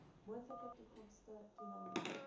moontlike toekomstige toename